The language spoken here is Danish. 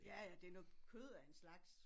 Ja ja det noget kød af en slags